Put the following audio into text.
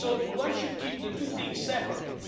One should keep the two things separate.